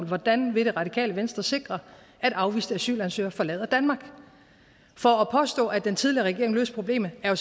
hvordan vil det radikale venstre sikre at afviste asylansøgere forlader danmark for at påstå at den tidligere regering løste problemet er